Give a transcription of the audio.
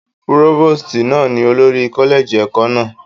Púrófòstì náà ni olórí kọ́lẹ́ẹ̀jì ẹ̀kọ́ náà